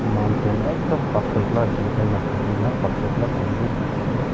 mountent ekta pathor akela jungle nathaki na pothor akela thaki kina dekhi ase.